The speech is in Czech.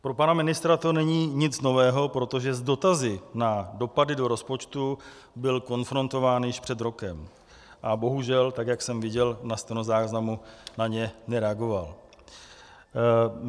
Pro pana ministra to není nic nového, protože s dotazy na dopady do rozpočtu byl konfrontován již před rokem a bohužel, tak jak jsem viděl na stenozáznamu, na ně nereagoval.